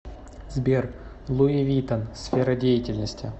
сбер луи виттон сфера деятельности